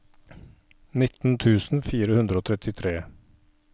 nitten tusen fire hundre og trettitre